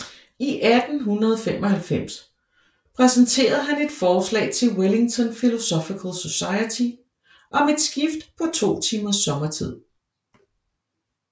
I 1895 præsenterede han et forslag til Wellington Philosophical Society om et skift på to timers sommertid